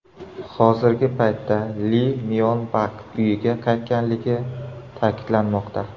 Hozirgi paytda Li Myon Bak uyiga qaytganligi ta’kidlanmoqda.